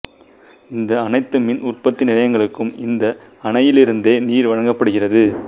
இந்த அனைத்து மின்னுற்பத்தி நிலையங்களுக்கும் இந்த அணையிலிருந்தே நீர் வழங்கப்படுகிறது